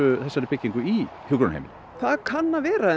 þessari byggingu í hjúkrunarheimili það kann að vera